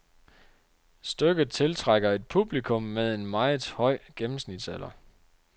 Stykket tiltrækker et publikum med en meget høj gennemsnitsalder.